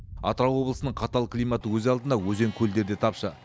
атырау облысының қатал климаты өз алдына өзен көлдер де тапшы